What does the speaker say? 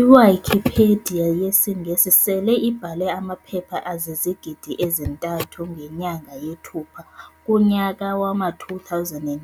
I-Wikipedia yesiNgesi sele ibhale amaphepha azizigidi ezi-3 ngenyanga yeThupha kunya wama-2009.